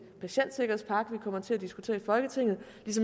patientsikkerhedspakke vi kommer til at diskutere i folketinget